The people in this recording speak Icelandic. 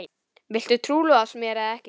Viltu trúlofast mér eða ekki?